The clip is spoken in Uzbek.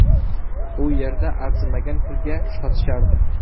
U yerda arzimagan pulga sotishardi.